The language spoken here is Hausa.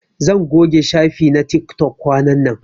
Zan goge shafi na tiktok kwanan nan.